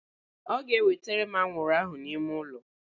Ọ ga-ewetere m anwụrụ ahụ n'ime ụlọ?